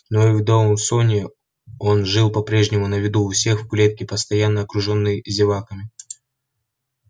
но и в доусоне он жил по-прежнему на виду у всех в клетке постоянно окружённый зеваками